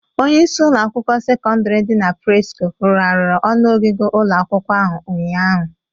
Onyeisi ụlọ akwụkwọ sekọndịrị dị na Presko rụgharịrị ọnụ ogige ụlọ akwụkwọ ahụ ụnyaahụ.